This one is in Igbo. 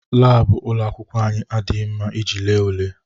Laabụ ụlọ akwụkwọ anyị adịghị mma iji lee ule.